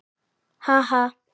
Ha, ha!